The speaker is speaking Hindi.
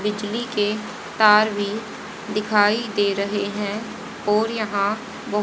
बिजली के तार भी दिखाई दे रहे हैं और यहां--